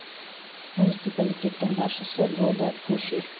муниципалитеттің басшысы бодо пуфе